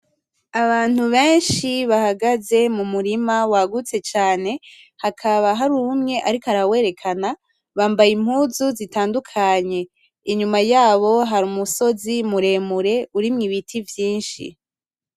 Abantu benshi bahagaze mu murima wagutse cane hakaba hari umwe ariko arawerekana. Bambaye impuzu zitandukanye. Inyuma yabo hari umusozi mure mure urimwo ibiti vyinshi.